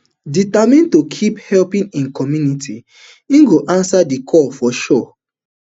determined to keep helping im community im go answer di call for sure